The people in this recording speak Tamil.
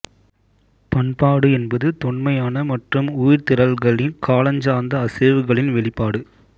பண்பாடு என்பது தொன்மையான மற்றும் உயிர்த்திரள்களின் காலஞ்சார்ந்த அசைவுகளின் வெளிப்பாடு